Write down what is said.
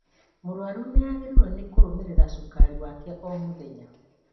Mũrwaru nĩagĩrĩirwo nĩ kũrũmĩrĩra cukari wake o mũthenya